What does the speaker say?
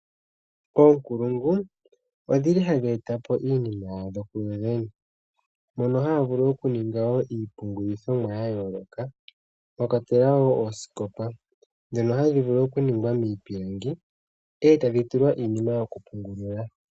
Ookulungu ohadhi etpo iinima yadho kuyoyene, mono haya vulu okuninga woo iipungulithomwa ya yooloka, mwa kwatelwa woo oosikopa ndhono dha ningwa miipilangi, e tadhi tulwa iinima yokupungulila.